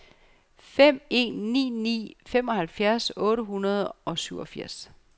fem en ni ni femoghalvfems otte hundrede og syvogfirs